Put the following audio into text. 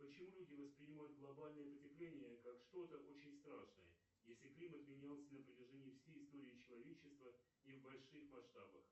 почему люди воспринимают глобальное потепление как что то очень страшное если климат менялся на протяжении всей истории человечества и в больших масштабах